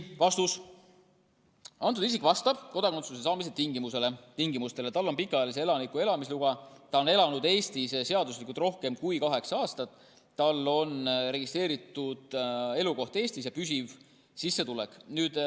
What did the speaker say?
Vastus on, et see isik vastab kodakondsuse saamise tingimustele, tal on pikaajalise elaniku elamisluba, ta on elanud Eestis seaduslikult rohkem kui kaheksa aastat, tal on registreeritud elukoht Eestis ja püsiv sissetulek.